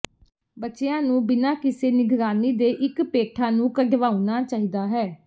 ਬੱਚਿਆਂ ਨੂੰ ਬਿਨਾਂ ਕਿਸੇ ਨਿਗਰਾਨੀ ਦੇ ਇੱਕ ਪੇਠਾ ਨੂੰ ਕਢਵਾਉਣਾ ਚਾਹੀਦਾ ਹੈ